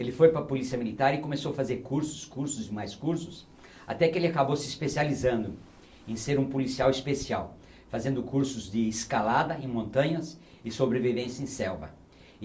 Ele foi para a Polícia Militar e começou a fazer cursos, cursos e mais cursos, até que ele acabou se especializando em ser um policial especial, fazendo cursos de escalada em montanhas e sobrevivência em selva.